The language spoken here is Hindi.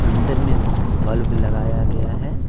अंदर में बल्ब लगाया गया है।